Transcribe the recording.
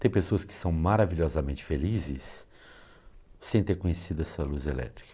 Tem pessoas que são maravilhosamente felizes sem ter conhecido essa luz elétrica.